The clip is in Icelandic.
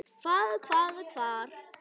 Hvað. hvað. hvar.